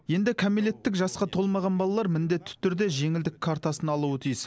енді кәмелеттік жасқа толмаған балалар міндетті түрде жеңілдік картасын алуы тиіс